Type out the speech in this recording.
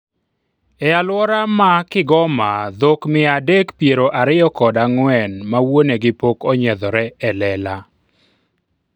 e alwora ma Kigoma dhok mia adek piero ariyo kod ang'wen ma wuonegi pok onyiedhore e lela